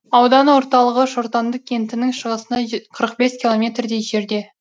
аудан орталығы шортанды кентінің шығысында қырық бес километрдей жерде